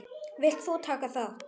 Vilt þú taka þátt?